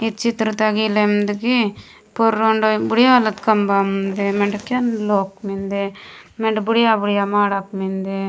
इच्छित्रता गिलन्द मिंदगी पुरुरंड बुढिया वाला खंभा मिन्दे मांड्या केत लोक मिन्दे मिंडे बढ़िया बढ़िया मांड्या मिन्दे।